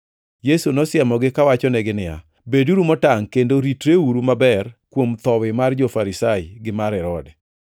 Yesu nosiemogi kawachonegi niya, “Beduru motangʼ kendo ritreuru maber kuom thowi mar jo-Farisai gi mar Herode.”